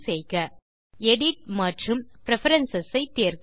main menu விலிருந்து edit மற்றும் preference ஐ தேர்க